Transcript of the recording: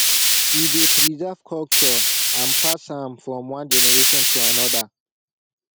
e dey preserve culture and pass am from one generation to anoda